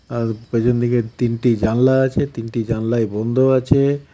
আর পেছনদিকে তিনটি জানলা আছে তিনটি জানলাই বন্ধ আছে.